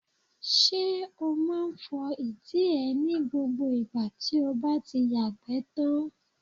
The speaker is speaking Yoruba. Ṣé o máa ń fọ ìdí ẹ ní gbogbo ìgbà tí o bá ti yàgbẹ́ tán.